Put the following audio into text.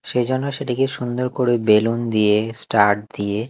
সেইজন্য সেটিকে সুন্দর করে বেলুন দিয়ে স্টার দিয়ে--